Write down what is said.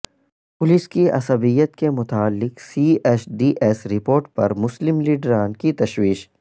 police کی عصبیت کے متعلق C S D S report پر مسلم لیڈران کی تشویش